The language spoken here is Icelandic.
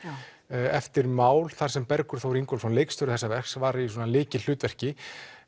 eftir mál þar sem Bergur Þór Ingólfsson leikstjóri þessa verks var í svona lykilhlutverki